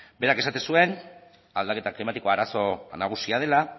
berak esaten zuen aldaketa klimatikoa arazo nagusia dela